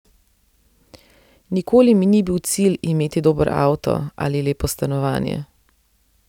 Nikoli mi ni bil cilj imeti dober avto ali lepo stanovanje.